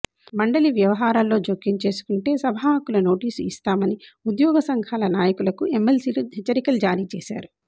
మండలి వ్యవహారాల్లో జోక్యం చేసుకుంటే సభాహక్కుల నోటీసు ఇస్తామని ఉద్యోగ సంఘాల నాయకులకు ఎమ్మెల్సీలు హెచ్చరికలు జారీ చేశారు